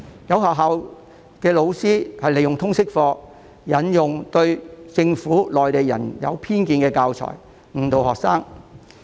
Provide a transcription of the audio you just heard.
有學校老師透過通識科，利用對政府和內地人有偏見的教材，誤導學生。